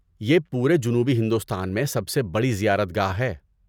یہ پورے جنوبی ہندوستان میں سب سے بڑی زیارت گاہ ہے۔